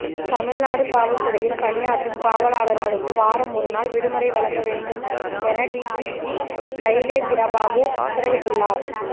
தமிழ்நாடு காவல்துறையில் பணியாற்றும் காவலர்களுக்கு வாரம் ஒருநாள் விடுமுறை வழங்க வேண்டும் என டிஜிபி சைலேந்திர பாபு உத்தரவிட்டுள்ளார்